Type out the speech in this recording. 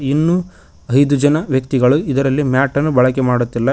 ಇನ್ನೂ ಐದು ಜನ ವ್ಯಕ್ತಿಗಳು ಇದರಲ್ಲಿ ಮ್ಯಾಟ್ ಅನ್ನು ಬಳಕೆ ಮಾಡುತ್ತಿಲ್ಲ.